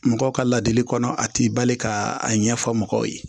Mɔgɔw ka ladili kɔnɔ a ti bali ka a ɲɛfɔ mɔgɔw ye